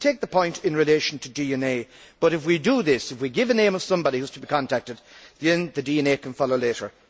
I take the point in relation to DNA, but if we do this if we give the name of somebody who is to be contacted then the DNA can follow later.